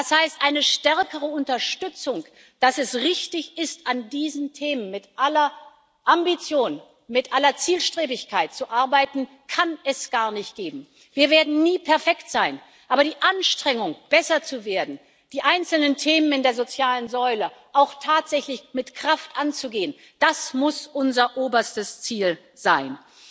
Das heißt, eine stärkere Unterstützung dafür, dass es richtig ist, an diesen Themen mit aller Ambition, mit aller Zielstrebigkeit zu arbeiten, kann es gar nicht geben. Wir werden nie perfekt sein, aber die Anstrengung besser zu werden, die einzelnen Themen in der sozialen Säule auch tatsächlich mit Kraft anzugehen, das muss unser oberstes Ziel sein.